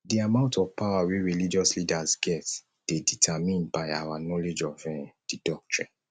di amount of power wey religious leaders get dey determimed by our knowledge of um di doctrine